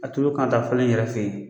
A tolo kan ka falen yɛrɛ fe yen.